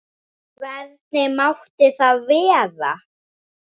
Hvernig mátti það vera?